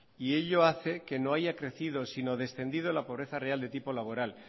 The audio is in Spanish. y ello hace que no haya crecido sino descendido la pobreza real de tipo laboral